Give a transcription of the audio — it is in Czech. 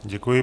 Děkuji.